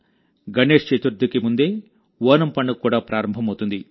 గణేశ్ చతుర్థికి ముందే ఓనం పండుగ కూడా ప్రారంభమవుతుంది